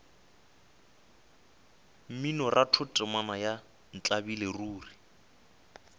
mminoratho temana ya ntlabile ruri